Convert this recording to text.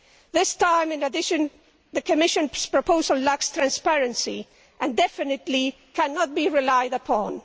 This time, in addition, the Commission's proposal lacks transparency and definitely cannot be relied upon.